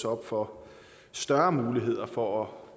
op for større muligheder for at